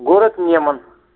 город неман